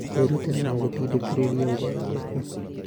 Kwĩrutĩra no gũtindĩkĩrĩrie ũgarũrũku.